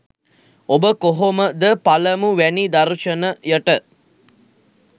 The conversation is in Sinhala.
ඔබ කොහොම ද පළමු වැනි දර්ශනයට